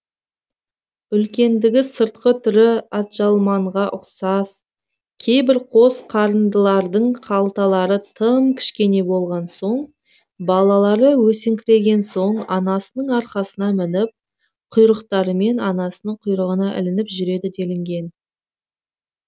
үлкендігі сыртқы түрі атжалманға ұқсас кейбір қос қарындылардың қалталары тым кішкене болған соң балалары өсіңкіреген соң анасының арқасына мініп құйрықтарымен анасының құйрығына ілініп жүреді делінген